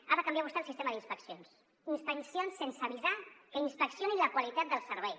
ha de canviar vostè el sis·tema d’inspeccions inspeccions sense avisar que inspeccionin la qualitat del servei